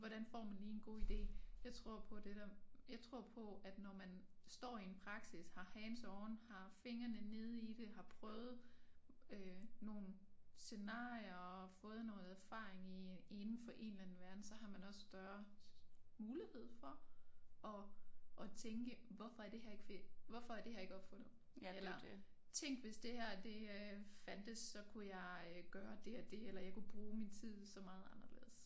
Hvordan får man lige en god idé jeg tror på det der jeg tror på at når man står i en praksis har hands-on har fingrene nede i det har prøvet øh nogle scenarier og fået noget erfaring i indenfor en eller anden verden så har man også større mulighed for at at tænke hvorfor er det her ikke hvorfor er det her ikke opfundet eller tænk hvis det her det øh fandtes så kunne jeg øh gøre dét og dét eller jeg kunne bruge min tid så meget anderledes